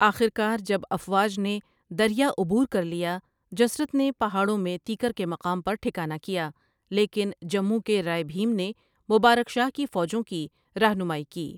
آخر کار جب افواج نے دریا عبور کر لیا جسرت نے پہاڑوں میں تیکر کے مقام پر ٹھکانہ کیا لیکن جمّون کے رائے بہیم نے مبارک شاہ کی فوجوں کی راہنمائی کی ۔